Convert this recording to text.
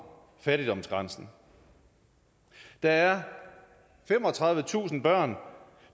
fattigdomsgrænsen der er femogtredivetusind børn